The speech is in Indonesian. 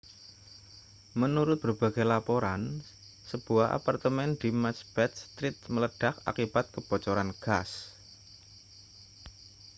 menurut berbagai laporan sebuah apartemen di macbeth street meledak akibat kebocoran gas